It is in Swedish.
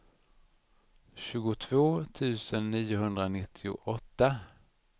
tjugotvå tusen niohundranittioåtta